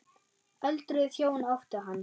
Öldruð hjón áttu hann.